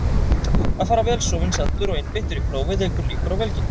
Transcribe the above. Að fara vel sofinn, saddur og einbeittur í prófið eykur líkur á velgengni.